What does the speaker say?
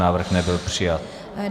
Návrh nebyl přijat.